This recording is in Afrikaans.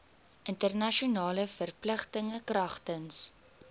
internasionale verpligtinge kragtens